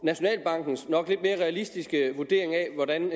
nationalbankens nok lidt mere realistiske vurdering af hvordan